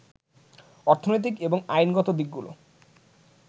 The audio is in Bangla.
অর্থনৈতিক এবং আইনগত দিকগুলো